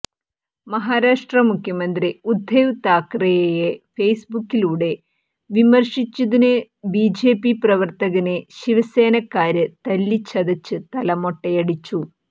മഹാരാഷ്ട്ര മുഖ്യമന്ത്രി ഉദ്ധവ് താക്കറെയെ ഫേസ്ബുക്കിലൂടെ വിമർശിച്ചതിന് ബിജെപി പ്രവര്ത്തകനെ ശിവസേനക്കാര് തല്ലിച്ചതച്ച് തല മൊട്ടയടിച്ചു